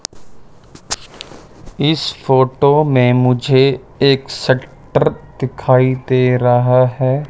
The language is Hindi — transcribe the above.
इस फोटो में मुझे एक शटर दिखाई दे रहा है।